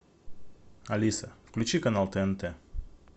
алиса включи канал тнт